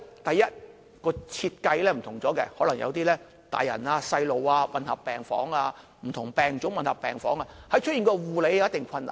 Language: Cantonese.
第一，設計不同，可能有些大人小童混合病房，不同病種混合病房，在護理上有一定困難。